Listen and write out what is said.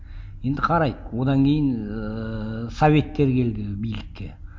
енді қарайық одан кейін ыыы советтер келді билікке